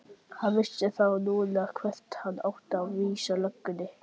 Hann vissi þá núna hvert hann átti að vísa löggunni!